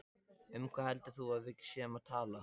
Um hvað heldur þú að við séum að tala!